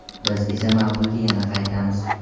Biz esa mavzuga yana qaytamiz...